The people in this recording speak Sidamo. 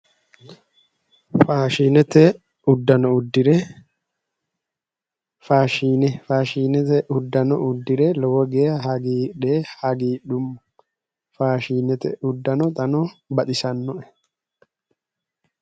Faashinete uduunne udire fashshine udire lowo geya hagidhe hagiidhummo faashinete uddano xaano baxisannoe